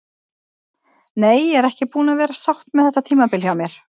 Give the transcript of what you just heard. Nei, ég er ekki búin að vera sátt með þetta tímabil hjá mér.